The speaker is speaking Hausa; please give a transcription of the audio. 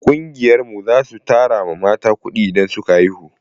Ƙungiyar mu za su tara mata kuɗi idan ta haihu.